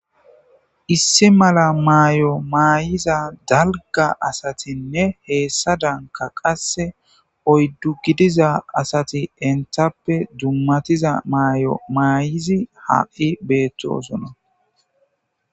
issi mala maayo maayiza dalga asatinne heessadanka qasse oyddu gidiza asati entappe dummatiza maayo maayizi ha7i beettosona